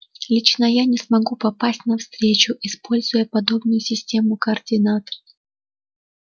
лично я не смогу попасть на встречу используя подобную систему координат